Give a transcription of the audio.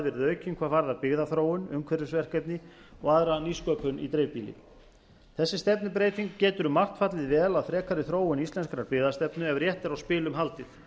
verið aukinn hvað varðar byggðaþróun umhverfisverkefni og aðra nýsköpun í dreifbýli þessi stefnubreyting getur um margt fallið vel að frekari þróun íslenskrar byggðastefnu ef rétt er á spilum haldið